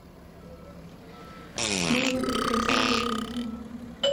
моя прекрасная жизнь